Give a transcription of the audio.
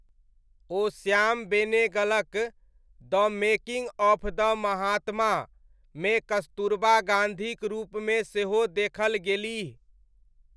ओ श्याम बेनेगलक 'the making of the Mahatma' मे कस्तूरबा गाँधीक रूपमे सेहो देखल गेलीह।